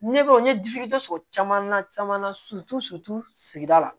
Ne bɛ n ye sɔrɔ caman na caman na sigida la